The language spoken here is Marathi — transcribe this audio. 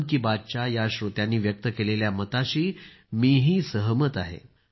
मन की बातच्या या श्रोत्यांनी व्यक्त केलेल्या मताशी मीही सहमत आहे